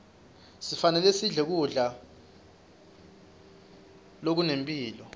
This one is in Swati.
sifanelesidle kudla zokunemphilo